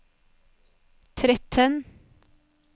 tretten